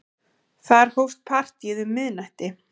Þar hófst partíið um miðnætti.